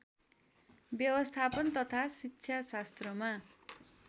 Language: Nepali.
व्यवस्थापन तथा शिक्षाशास्त्रमा